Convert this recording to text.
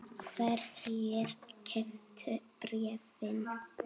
Hverjir keyptu bréfin?